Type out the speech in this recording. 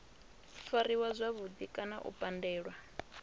fariwa zwavhudi kana u pandelwa